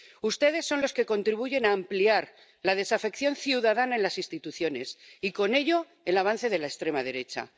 Ustedes son los que contribuyen a ampliar la desafección ciudadana en las instituciones y, con ello, el avance de la extrema derecha.